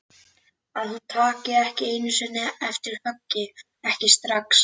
Að hún taki ekki einu sinni eftir höggi, ekki strax.